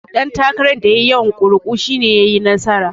Duk ɗan takaran da yafi yawan kuri'u shi ne yayi nasara.